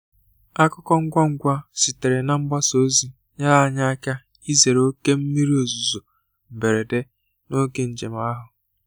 Akụkọ ngwa ngwa sitere na mgbasa ozi nyere anyị aka izere oké mmiri ozuzo mberede n'oge njem ahụ.